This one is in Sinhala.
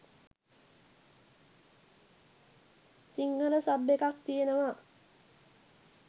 සිංහල සබ් එකක් තියෙනවා